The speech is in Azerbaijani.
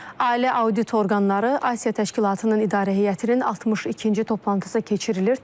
Ali Audit Orqanları Asiya Təşkilatının İdarə Heyətinin 62-ci toplantısı keçirilir.